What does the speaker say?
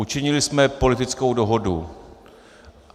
Učinili jsme politickou dohodu.